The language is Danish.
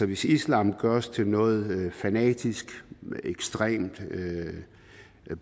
hvis islam gøres til noget fanatisk ekstremt